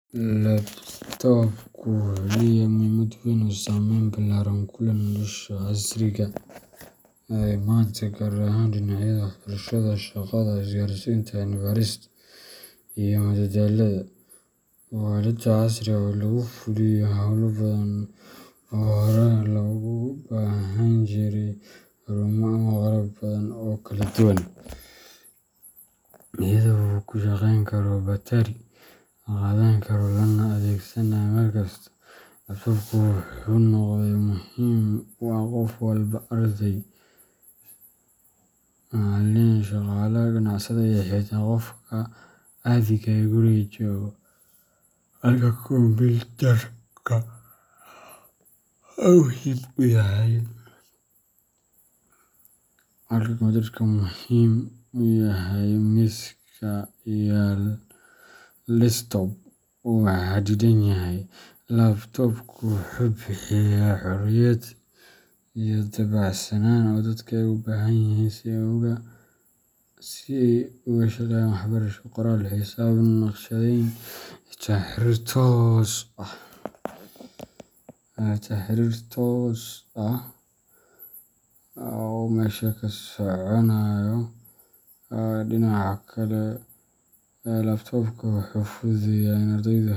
Laptopka wuxuu leeyahay muhiimad weyn oo saamayn ballaaran ku leh nolosha casriga ah ee maanta, gaar ahaan dhinacyada waxbarashada, shaqada, isgaarsiinta, cilmi baarista, iyo madadaalada. Waa aalad casri ah oo lagu fuliyo hawlo badan oo hore loogu baahnaan jiray xarumo ama qalab badan oo kala duwan. Iyada oo uu ku shaqeyn karo batari, la qaadan karo, lana adeegsankaro meel kasta, laptopku wuxuu noqday qalab muhiim u ah qof walba arday, macallin, shaqaale, ganacsade, iyo xitaa qofka caadiga ah ee guriga jooga. Halka kombiyuutarka miiska yaal desktop uu xadidan yahay, laptopku wuxuu bixiyaa xorriyad iyo dabacsanaan ay dadka u baahan yihiin si ay uga shaqeeyaan waxbarasho, qoraal, xisaab, naqshadeyn, iyo xitaa xiriir toos ah oo fog. Dhinaca waxbarashada, laptop-ka wuxuu fududeeyaa in ardaydu,